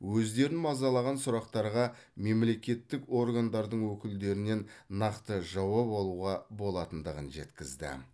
өздерін мазалаған сұрақтарға мемлекеттік органдардың өкілдерінен нақты жауап алуға болатындығын жеткізді